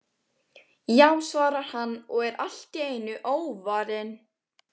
Já, svarar hann og er allt í einu óvarinn.